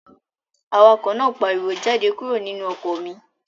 Awakọ̀ náà pariwo, "Jáde kúrò nínú ọkọ̀ mi!"